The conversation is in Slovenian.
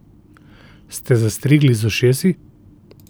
Ste zastrigli z ušesi?